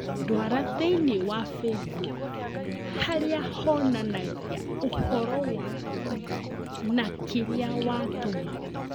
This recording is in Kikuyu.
Ndwara thiĩniĩ wa facebook harĩa honanagia ũhoro wa kũ na kĩrĩa wa tũma